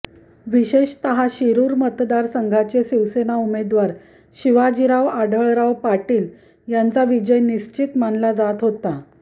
विशेषतः शिरूर मतदारसंघाचे शिवसेना उमेदवार शिवाजीराव आढळराव पाटील यांचा विजय निश्चित मानला जात होता